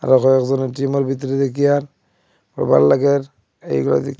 আরও কয়েকজন এ_টি_এম -এর ভিতরে দেকিয়া কবার লাগের এই বাঁদিক--